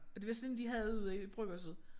Og det var sådan en de havde ude i bryggerset